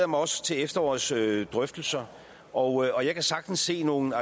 mig også til efterårets drøftelser og jeg kan sagtens se nogle